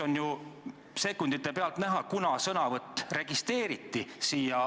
On ju sekundi pealt näha, kunas sõnavõtusoov registreeriti.